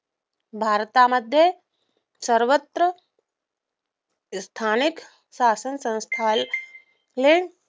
भारतमध्ये सर्वत्र स्थानिक शासनसंस्थाने